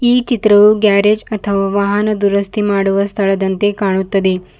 ಈ ಚಿತ್ರವು ಗ್ಯಾರೇಜ್ ಮತ್ತು ವಾಹನ ದುರಸ್ತಿ ಮಾಡುವ ಸ್ಥಳದಂತೆ ಕಾಣುತ್ತದೆ.